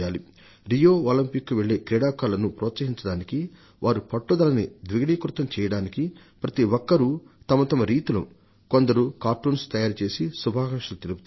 Rio olympics కు వెళ్లే క్రీడాకారులను ప్రోత్సహించడానికి వారి పట్టుదలని రెండింతలు చేయడానికి ప్రతి ఒక్కరు తమ తమ పద్ధతులలో కొందరు కార్టూన్స్ ను గీసి శుభాకాంక్షలు తెలియజేస్తారు